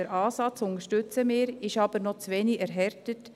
Den Ansatz unterstützen wir, er ist aber noch zu wenig erhärtet.